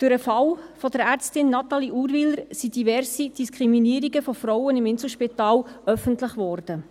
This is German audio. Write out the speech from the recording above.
Durch den Fall der Ärztin Natalie Urwyler wurden diverse Diskriminierungen im Inselspital öffentlich geworden.